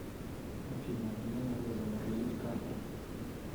афина мне надо заморозить карту